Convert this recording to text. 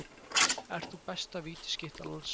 Ert þú besta vítaskytta landsins?